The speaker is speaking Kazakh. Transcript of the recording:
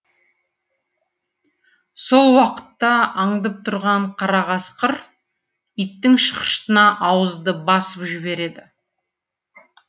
сол уақытта аңдып тұрған қара қасқыр иттің шықшытына ауызды басып жібереді